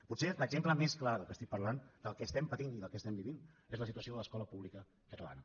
potser l’exemple més clar del que estic parlant del que estem patint i del que estem vivint és la situació de l’escola pública catalana